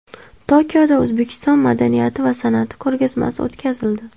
Tokioda O‘zbekiston madaniyati va san’ati ko‘rgazmasi o‘tkazildi.